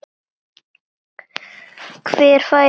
Hver fær staðist þessa rödd?